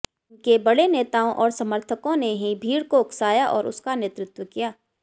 इनके बड़े नेताओं और समर्थकों ने ही भीड़ को उकसाया और उसका नेतृत्व किया